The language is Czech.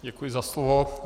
Děkuji za slovo.